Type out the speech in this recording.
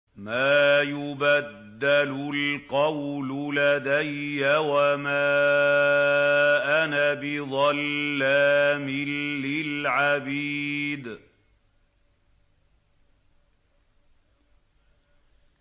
مَا يُبَدَّلُ الْقَوْلُ لَدَيَّ وَمَا أَنَا بِظَلَّامٍ لِّلْعَبِيدِ